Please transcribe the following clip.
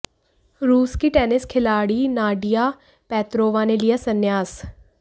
रूस की टेनिस खिलाड़ी नाडिया पेत्रोवा ने लिया संन्यास